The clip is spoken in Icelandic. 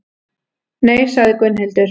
Nei, sagði Gunnhildur.